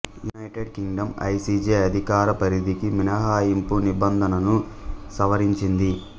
united Kingdom I C J అధికార పరిధికి మినహాయింపు నిబంధనను సవరించింది